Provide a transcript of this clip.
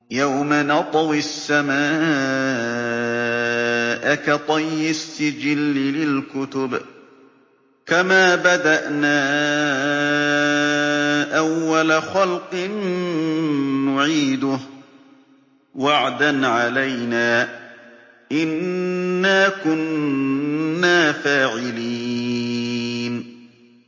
يَوْمَ نَطْوِي السَّمَاءَ كَطَيِّ السِّجِلِّ لِلْكُتُبِ ۚ كَمَا بَدَأْنَا أَوَّلَ خَلْقٍ نُّعِيدُهُ ۚ وَعْدًا عَلَيْنَا ۚ إِنَّا كُنَّا فَاعِلِينَ